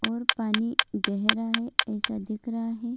और पानी गैहरा है ऐसा दिख रहा है।